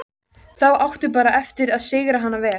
Þá áttu bara eftir að sigra hana alveg.